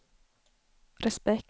respekt